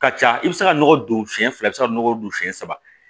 Ka ca i bɛ se ka nɔgɔ don siɲɛ fila bɛ se ka nɔgɔ don siɲɛ saba